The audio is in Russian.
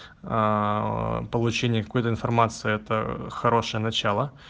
получение какой информации это хорошее начало